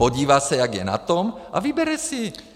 Podívá se, jak je na tom, a vybere si.